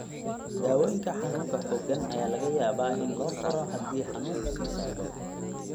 Daawooyinka xanuunka xooggan ayaa laga yaabaa in loo qoro haddii xanuunku sii socdo.